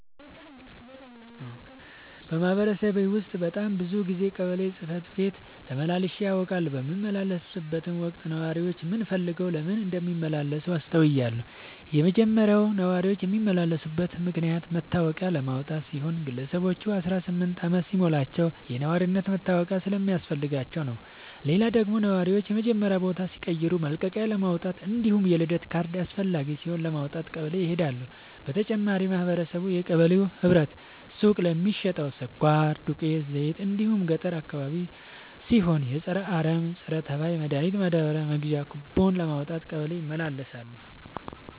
በማህበረሰቤ ውስጥ በጣም ብዙ ጊዜ ቀበሌ ጽህፈት ቤት ተመላልሼ አውቃለሁ። በምመላለስበትም ወቅት ነዋሪዎች ምን ፈልገው ለምን እንደሚመላለሱ አስተውያለሁ የመጀመሪያው ነዋሪዎች የሚመላለሱበት ምክንያት መታወቂያ ለማውጣት ሲሆን ግለሰቦች አስራስምንት አመት ሲሞላቸው የነዋሪነት መታወቂያ ስለሚያስፈልጋቸው ነው። ሌላው ደግሞ ነዋሪዎች የመኖሪያ ቦታ ሲቀይሩ መልቀቂያለማውጣት እንዲሁም የልደት ካርድ አስፈላጊ ሲሆን ለማውጣት ቀበሌ ይሄዳሉ። በተጨማሪም ማህበረቡ የቀበሌው ህብረት ሱቅ ለሚሸተው ስኳር፣ ዱቄት፣ ዘይት እንዲሁም ገጠር አካባቢ ሲሆን የፀረ አረም፣ ፀረተባይ መድሀኒት ማዳበሪያ መግዣ ኩቦን ለማውጣት ቀበሌ ይመላለሳሉ።